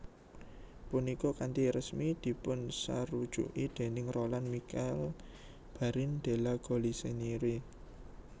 Punika kanthi resmi dipunsarujuki déning Roland Michel Barrin de La Galissonière